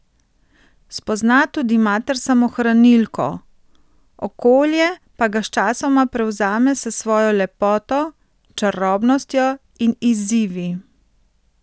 Spozna tudi mater samohranilko, okolje pa ga sčasoma prevzame s svojo lepoto, čarobnostjo in izzivi.